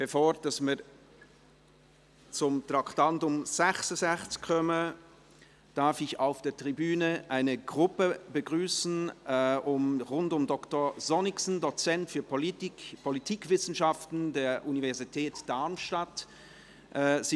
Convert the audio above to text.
Bevor wir zu Traktandum 66 kommen, darf ich auf der Tribüne eine Gruppe um Dr. Jared Sonnicksen, Dozent für Politikwissenschaften an der Technischen Universität Darmstadt, begrüssen.